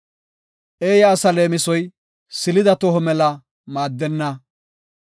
Eeya asa leemisoy, silida toho mela maaddenna.